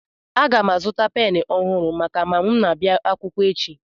Aga m azụta pen ọhụrụ maka ma m na-abịa akwụkwọ echi